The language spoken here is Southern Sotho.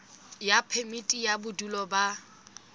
ya phemiti ya bodulo ba